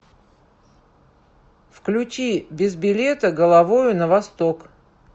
включи без билета головою на восток